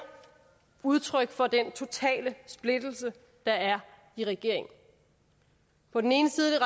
udtryk for den totale splittelse der er i regeringen på den ene side er